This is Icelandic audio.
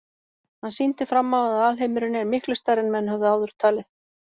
Hann sýndi fram á að alheimurinn er miklu stærri en menn höfðu áður talið.